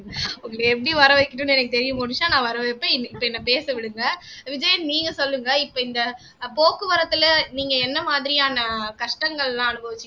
உங்களை எப்படி வர வைக்கணும்னு எனக்கு தெரியும் மோனிஷா நான் வரவேப்பேன் இப்ப என்னை பேச விடுங்க விஜயன் நீங்க சொல்லுங்க இப்ப இந்த போக்குவரத்துல நீங்க என்ன மாதிரியான கஷ்டங்கள்லாம் அனுபவிச்சிங்க